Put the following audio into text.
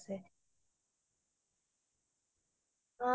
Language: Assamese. তুমি কেনেকুৱা type ৰ চিনেমা চাই ভাল পুৱা